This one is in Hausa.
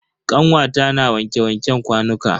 Kanwata na wanke wanken kwanuka.